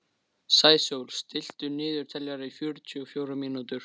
Sæsól, stilltu niðurteljara á fjörutíu og fjórar mínútur.